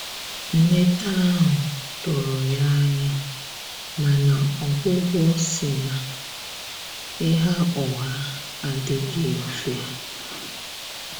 Nleta ahụ tụrụ ya anya, mana ọgwugwọ si na Ịgha ụgha adighi mfe.